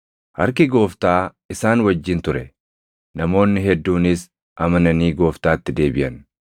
Harki Gooftaa isaan wajjin ture; namoonni hedduunis amananii Gooftaatti deebiʼan.